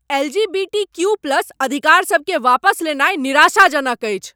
LGBTQ plus अधिकारसबकेँ वापस लेनाइ निराशाजनक अछि।